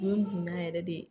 Me n bonya yɛrɛ de